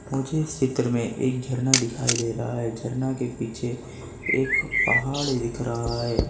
मुझे इस चित्र में एक झरना दिखाई दे रहा है झरना के पीछे एक पहाड़ दिख रहा है।